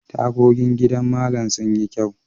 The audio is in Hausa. Tagogin gidan Mallama sun yi kyau.